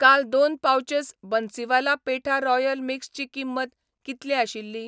काल दोन pouches Bansiwala petha royal mix ची किंमत कितली आशिल्ली?